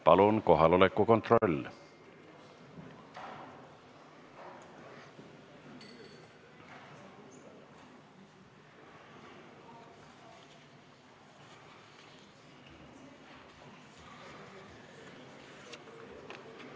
Palun kohaloleku kontroll!